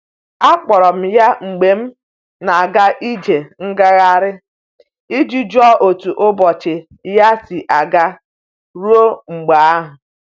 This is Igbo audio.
Akpọrọ m ya mgbe m na'aga ije ngaghari i ji jụọ otu ụbọchị ya si aga ruo mgbe ahụ.